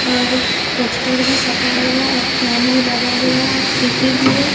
और पोस्टर भी सटा हुआ है और फैन भी लगा हुआ है और टी_वी भी है।